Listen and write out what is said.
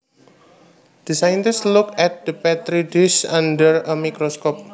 The scientist looked at the Petri dish under a microscope